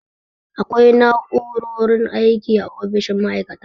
Akwai na'u'rorin aiki a ofishin ma'aikata.